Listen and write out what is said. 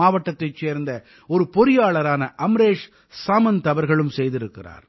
மாவட்டத்தைச் சேர்ந்த ஒரு பொறியாளரான அமரேஷ் சாமந்த் அவர்களும் செய்திருக்கிறார்